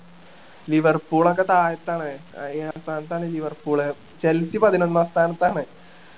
Liverpool ഒക്കെ താഴത്ത് ആണ് അഹ് താഴത്ത് ആണ് ലിവർപൂള് ചെൽസി പതിനൊന്നാം സ്ഥാനത്ത് ആണ്